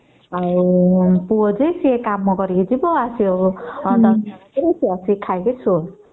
ପୁଅ ଯେ ତାର କାମ କରିବାକୁ ଯିବ ଆସିବା ଡେରି ରାତି ରେ ଆସିକି ଖାଇକି ସୋ